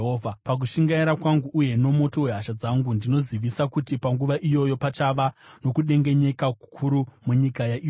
Pakushingaira kwangu uye nomoto wehasha dzangu, ndinozivisa kuti panguva iyoyo pachava nokudengenyeka kukuru munyika yaIsraeri.